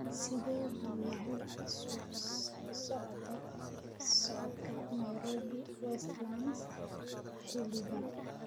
Sidee buu yahay isu socodka Nairobi Westlands xilligan?